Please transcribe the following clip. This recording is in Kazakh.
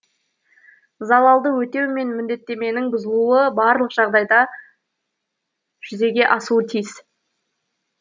залалды өтеу мен міндеттеменің бұзылуы барлық жағдайда жүзеге асуы тиіс